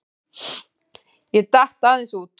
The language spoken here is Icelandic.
Ég datt aðeins út.